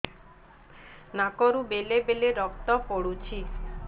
ନାକରୁ ବେଳେ ବେଳେ ରକ୍ତ ପଡୁଛି